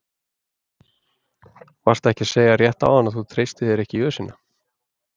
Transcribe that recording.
Varstu ekki að segja rétt áðan að þú treystir þér ekki í ösina?